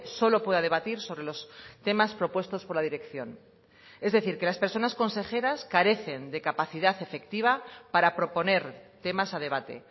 solo pueda debatir sobre los temas propuestos por la dirección es decir que las personas consejeras carecen de capacidad efectiva para proponer temas a debate